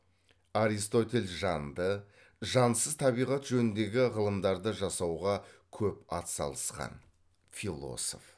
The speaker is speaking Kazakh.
аристотель жанды жансыз табиғат жөніндегі ғылымдарды жасауға көп ат салысқан философ